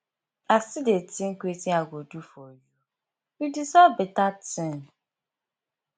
i still dey think wetin i go do for you you deserve beta thing